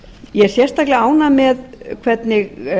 ég er sérstaklega ánægð með hvernig